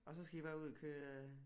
Og så skal I bare ud og køre